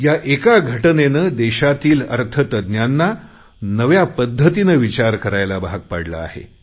या एका घटनेने देशातील अर्थतज्ञांना नव्या पद्धतीने विचार करायला भाग पाडले आहे